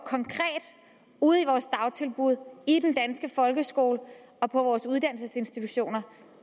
ude i vores dagtilbud i den danske folkeskole og på vores uddannelsesinstitutioner